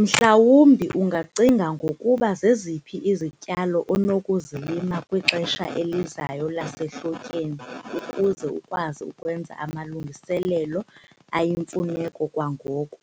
Mhlawumbi ungacinga ngokuba zeziphi izityalo onokuzilima kwixesha elizayo lasehlotyeni ukuze ukwazi ukwenza amalungiselelo ayimfuneko kwangoku